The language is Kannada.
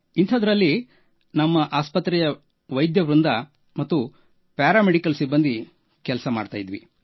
ಇಂಥದ್ದರಲ್ಲಿ ನಮ್ಮ ಆಸ್ಪತ್ರೆಯ ವೈದ್ಯವೃಂದ ಹಾಗೂ ಪ್ಯಾರಾ ಮೆಡಿಕಲ್ ಸಿಬ್ಬಂದಿ ಕೆಲಸ ಮಾಡುತ್ತಿದ್ದೆವು